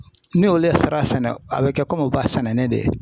Ni olu fara fɛnɛ a be kɛ u b'a sɛnɛ ne de ye.